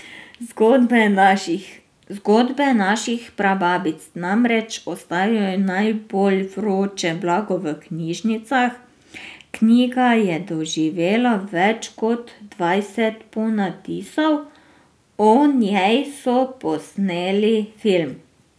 Zgodbe naših prababic namreč ostajajo najbolj vroče blago v knjižnicah, knjiga je doživela več kot dvajset ponatisov, o njej so posneli film.